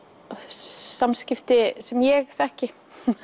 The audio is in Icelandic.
samskipti sem ég þekki